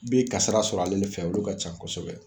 Bee kasara sɔrɔ ale fɛ olu ka ca kosɛbɛ